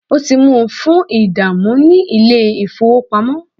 o ti mu fun idamu ni ile-ifowopamọ.